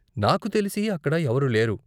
నాకు తెలిసి, అక్కడ ఎవరు లేరు.